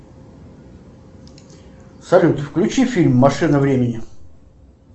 салют включи фильм машина времени